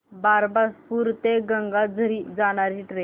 बारबासपुरा ते गंगाझरी जाणारी ट्रेन